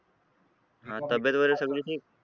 तब्येत वगैरे सगळे ठीक?